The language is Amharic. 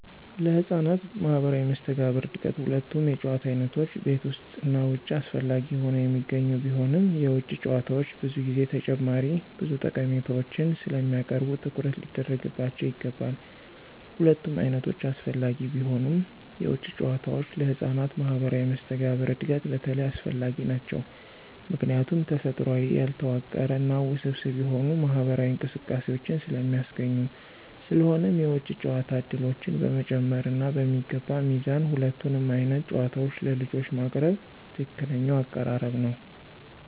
ለህፃናት ማህበራዊ መስተጋብር እድገት ሁለቱም የጨዋታ ዓይነቶች (ቤት ውስጥ እና ውጭ) አስፈላጊ ሆነው የሚገኙ ቢሆንም፣ የውጭ ጨዋታዎች ብዙ ጊዜ ተጨማሪ ብዙ ጠቀሜታዎችን ስለሚያቀርቡ ትኩረት ሊደረግባቸው ይገባል። ሁለቱም ዓይነቶች አስፈላጊ ቢሆኑም፣ የውጭ ጨዋታዎች ለህፃናት ማህበራዊ መስተጋብር እድገት በተለይ አስፈላጊ ናቸው ምክንያቱም ተፈጥሯዊ፣ ያልተዋቀረ እና ውስብስብ የሆኑ ማህበራዊ እንቅስቃሴዎችን ስለሚያስገኙ። ስለሆነም የውጭ ጨዋታ ዕድሎችን በመጨመር እና በሚገባ ሚዛን ሁለቱንም ዓይነት ጨዋታዎች ለልጆች ማቅረብ ትክክለኛው አቀራረብ ነው።